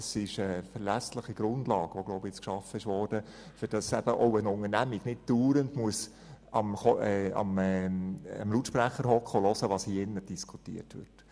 Mit diesem Gesetz wurde eine verlässliche Grundlage geschaffen, sodass eine Unternehmung nicht dauernd am Lautsprecher sitzen und zuhören muss, was hier im Grossen Rat diskutiert wird.